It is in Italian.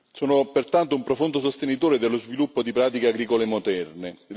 Sono pertanto un profondo sostenitore dello sviluppo di pratiche agricole moderne.